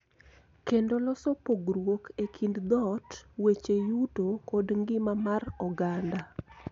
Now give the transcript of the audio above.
Kendo loso pogruok e kind dhoot, weche yuto, kod ngima mar oganda.